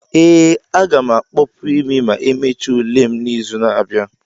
ee, a ga m akpopu imi ma emechaa ule m n'izu na-abịa.